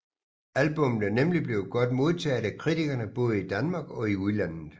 Albummet er nemlig blevet godt modtaget af kritikerne både i Danmark og i udlandet